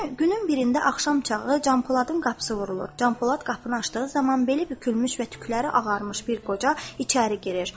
Günün birində axşam çağı Canpoladın qapısı vurulur, Canpolad qapını açdığı zaman beli bükülmüş və tükləri ağarmış bir qoca içəri girir.